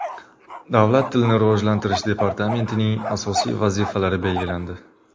Davlat tilini rivojlantirish departamentining asosiy vazifalari belgilandi.